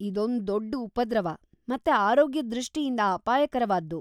ಇದೊಂದು ದೊಡ್ ಉಪದ್ರವ ಮತ್ತೆ ಆರೋಗ್ಯದ ದೃಷ್ಟಿಯಿಂದ ಅಪಾಯಕರವಾದ್ದು.